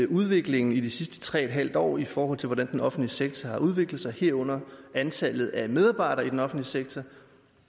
udviklingen i de sidste tre en halv år i forhold til hvordan den offentlige sektor har udviklet sig herunder antallet af medarbejdere i den offentlige sektor